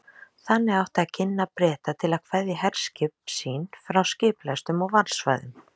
Þannig átti að ginna Breta til að kveðja herskip sín frá skipalestum og varðsvæðum